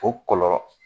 O kɔlɔlɔ